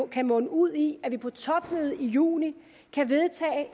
kan munde ud i at vi på topmødet i juni kan vedtage